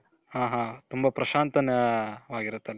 ಹಾ ಹಾ ತುಂಬ ಪ್ರಶಾಂತವಾಗಿರುತ್ತೆ.